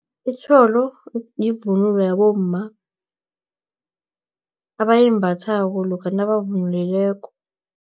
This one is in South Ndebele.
Itjholo, yivunulo yabomma, abayimbathako, lokha nabavunulileko.